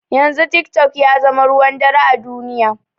Yanzu tik tok yazama ruwan dare a duniya